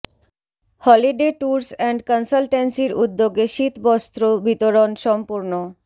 Holi day Tours and কনসালটেন্সির উদ্যোগে শীত বস্ত্র বিতরণ সম্পূর্ণ